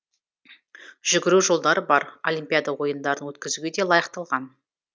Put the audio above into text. жүгіру жолдары бар олимпиада ойындарын өткізуге де лайықталған